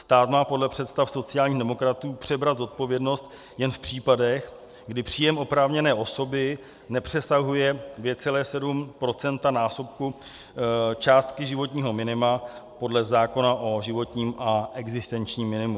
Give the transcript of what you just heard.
Stát má podle představ sociálních demokratů přebrat zodpovědnost jen v případech, kdy příjem oprávněné osoby nepřesahuje 2,7násobku částky životního minima podle zákona o životním a existenčním minimu.